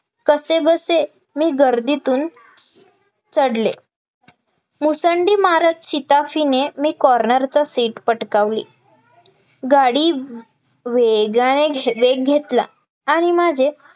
कसेबसे मी गर्दीतून चढले मुसंडी मारत शिताफीने मी कॉर्नर चा सीट पटकावली गाडी वेग घेतला आणि माझे